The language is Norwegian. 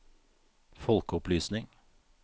folkeopplysning